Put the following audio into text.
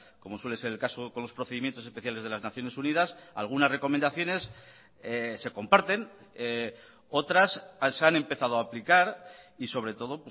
como suele ser el caso con los procedimientos especiales de las naciones unidas algunas recomendaciones se comparten otras se han empezado a aplicar y sobre todo